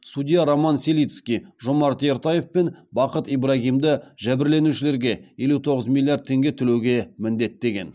судья роман селицкий жомарт ертаев пен бақыт ибрагимді жәбірленушілерге елу тоғыз миллиард теңге төлеуге міндеттеген